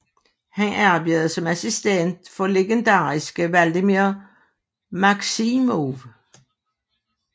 Han arbejdede som assistent for legendariske Vladimir Maksimov